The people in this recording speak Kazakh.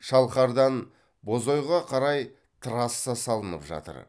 шалқардан бозойға қарай трасса салынып жатыр